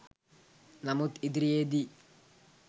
නමුත් ඉදිරියේදී